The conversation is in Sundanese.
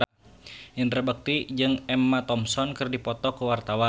Indra Bekti jeung Emma Thompson keur dipoto ku wartawan